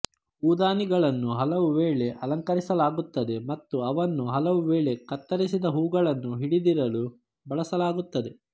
ಹೂದಾನಿಗಳನ್ನು ಹಲವುವೇಳೆ ಅಲಂಕರಿಸಲಾಗುತ್ತದೆ ಮತ್ತು ಅವನ್ನು ಹಲವುವೇಳೆ ಕತ್ತರಿಸಿದ ಹೂಗಳನ್ನು ಹಿಡಿದಿಡಲು ಬಳಸಲಾಗುತ್ತದೆ